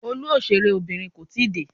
Olú òṣèré Obìnrin kò tíì dé.